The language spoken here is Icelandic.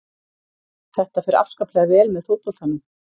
Þetta fer afskaplega vel með fótboltanum.